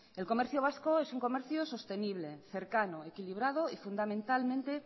el comercio vasco es un comercio sostenible cercano equilibrado